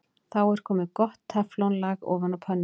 Þá er komið gott teflon-lag ofan á pönnuna.